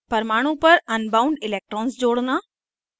परमाणु पर unbound electrons जोड़ना